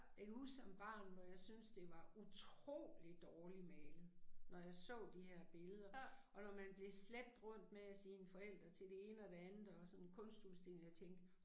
Jeg kan huske som barn hvor jeg synes det var utrolig dårlig malet når jeg så de her billeder, og når man blev slæbt rundt med sine forældre til det ene og det andet og sådan kunstudstilling, jeg tænkte